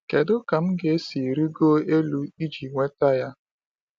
Kedu ka m ga-esi rịgo elu iji nweta ya?